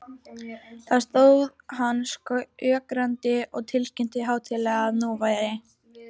Þar stóð hann skjögrandi og tilkynnti hátíðlega, að nú væri